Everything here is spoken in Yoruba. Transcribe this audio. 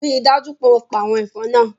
Rii daju pe o pa awọn ẹfọn naa